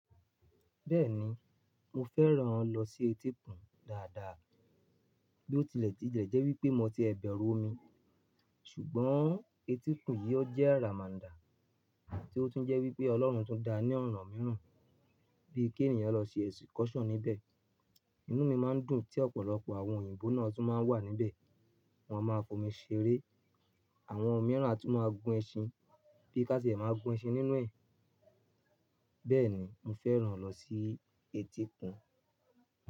Bẹ́ẹ̀ni mo fẹ́ràn lọ sí etíkun dáadáa. Bí ó tilẹ̀ ti jẹ́ wípé mo ti ẹ̀ bẹ̀rù omi. Ṣùgbọ́n etíkun yìí ó jẹ́ ramanda tí ó tún jẹ́ wípé Ọlọ́run tún da ní ọ̀nà míràn bí i kí ènìyàn lọ ṣe excursion níbẹ̀. Inú mi má ń dùn tí ọ̀pọ̀lọpọ̀ àwọn òyìnbó náà tún ma wà níbẹ̀. Wọ́n a máa fó mi ṣeré. Àwọn omíràn atún ma gún ẹṣin bí i ká sì máa gún ẹṣin nínú ẹ̀. Bẹ́ẹ̀ni mo fẹ́ràn lọ sí etíkun.